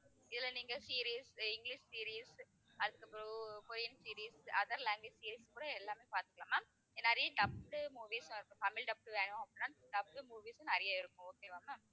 இதுல நீங்க series அஹ் இங்கிலிஷ் series அதுக்கப்புறம் Korean series other language series கூட எல்லாமே பாத்துக்கலாம் ma'am. நிறைய dubbed movies ஆ தமிழ் dubbed வேணும் அப்படின்னா dubbed movies நிறைய இருக்கும் okay வா ma'am